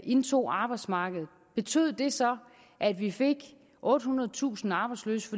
indtog arbejdsmarkedet betød det så at vi fik ottehundredetusind arbejdsløse